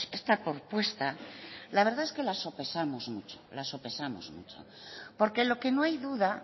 esta propuesta la verdad es que la sopesamos mucho la sopesamos mucho porque lo que no hay duda